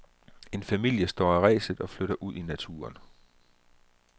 En familie står af ræset og flytter ud i naturen.